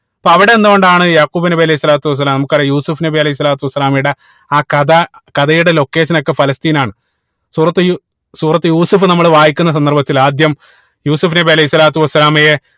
അപ്പൊ അവിടെ നിന്ന് കൊണ്ടാണ് യാഖൂബ് നബി അലൈഹി സ്വലാത്തു വസ്സലാം നമുക്കറിയ യൂസുഫ് നബി അലൈഹി സ്വലാത്തു വസ്സലാമയുടെ ആ കഥ കഥയുടെ Location ഒക്കെ ഫലസ്തീൻ ആണ് സൂറത്തുൽ യൂ സൂറത്തുൽ യൂസഫ് നമ്മള് വായിക്കുന്ന സന്ദർഭത്തിൽ ആദ്യം യൂസഫ് നബി അലൈഹി സ്വലാത്തു വസ്സലാമയെ